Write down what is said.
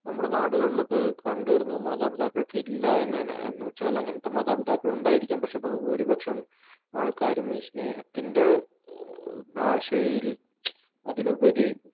നമ്മുടെ നാടുകളിലൊക്കെ കണ്ടുവരുന്ന മാതാപിതാക്കൾക്ക് ഇല്ല എന്നുതന്നെ എന്നുവച്ചാല് അങ്ങനത്തെ മാതാപിതാക്കൾ ഉണ്ടായിരിക്കാം പക്ഷേ ബഹുഭൂരിപക്ഷം ആൾക്കാരും ഈ സ്നേഹത്തിൻ്റെ ഭാഷയിൽ അതിലുപരി